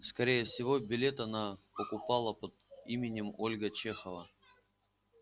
скорее всего билет она покупала под именем ольга чехова